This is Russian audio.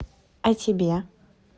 а тебе